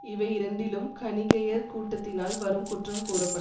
இவை இரண்டிலும் கணிகையர் கூட்டத்தினால் வரும் குற்றம் கூறப்பட்